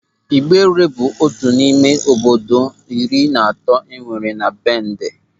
Ịgbere bụ otu n'ime obodo iri na atọ enwere na Bẹndẹ.